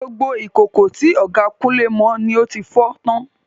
Gbogbo ìkòkò tí ọ̀gá Kunle mọ ni ó fi fọ́ tán.